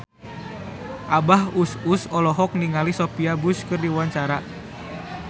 Abah Us Us olohok ningali Sophia Bush keur diwawancara